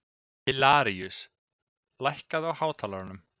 Hilaríus, lækkaðu í hátalaranum.